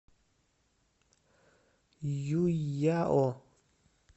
юйяо